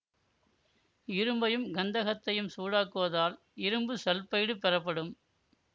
இரும்பையும் கந்தகத்தையும் சூடாக்குவதால் இரும்பு சல்ஃபைடு பெறப்படும்